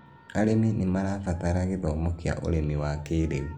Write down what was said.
arĩmi nĩ marabatara gĩthomo kĩa ũrĩmi wa kĩĩrĩu